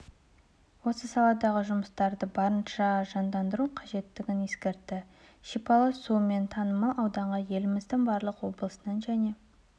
осы саладағы жұмыстарды барынша жандандыру қажеттігін ескертті шипалы суымен танымал ауданға еліміздің барлық облысынан және